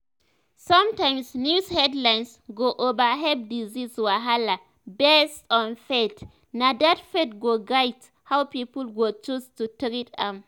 sometimes news headlines go overhype disease wahala based on faith and na that faith go guide how people go choose to treat am."